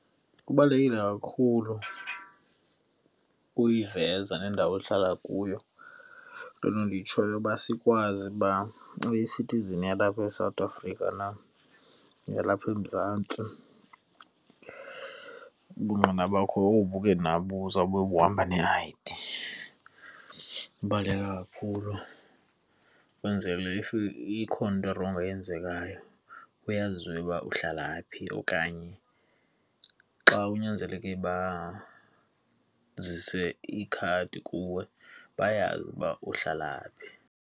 Kubalulekile kakhulu uyiveza nendawo ohlala kuyo, loo nto ndiyitshoyo uba sikwazi uba uyisithizini yalapha eSouth Africa na, yalapha eMzantsi. Ubungqina bakho bobu ke nabo buzawube buhamba ne-I_D. Ibaluleke kakhulu kwenzekile if ikhona into erongo eyenzekayo kuyaziwe uba uhlala phi okanye xa kunyanzeleke bazise ikhadi kuwe bayazi uba uhlala.